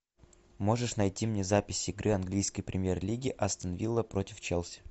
можешь найти мне запись игры английской премьер лиги астон вилла против челси